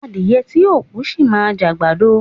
Adíyẹ́ tí o kú, ṣí má jẹ agbàdọ